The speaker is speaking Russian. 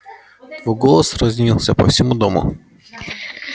твой голос разнился по всему дому